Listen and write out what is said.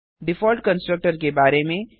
default constructor के बारे में